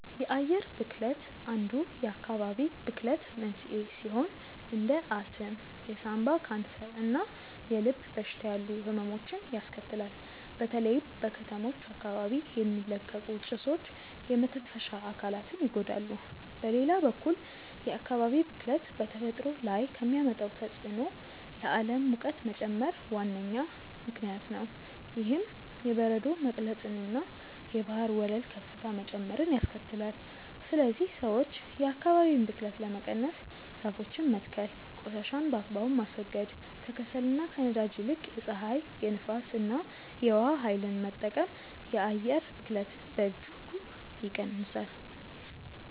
የአየር ብክለት አንዱ የአካባቢ ብክለት መንስኤ ሲሆን እንደ አስም፣ የሳምባ ካንሰር እና የልብ በሽታ ያሉ ህመሞችን ያስከትላል። በተለይም በከተሞች አካባቢ የሚለቀቁ ጭሶች የመተንፈሻ አካላትን ይጎዳሉ። በሌላ በኩል የአካባቢ ብክለት በተፈጥሮ ላይ ከሚያመጣው ተጽዕኖ ለዓለም ሙቀት መጨመር ዋነኛ ምክንያት ነው። ይህም የበረዶ መቅለጥንና የባህር ወለል ከፍታ መጨመርን ያስከትላል። ስለዚህ ሰዎች የአካባቢን ብክለት ለመቀነስ ዛፎችን መትከል ቆሻሻን በአግባቡ ማስወገድ፣ ከከሰልና ከነዳጅ ይልቅ የፀሐይ፣ የንፋስ እና የውሃ ኃይልን መጠቀም የአየር ብክለትን በእጅጉ ይቀንሳል።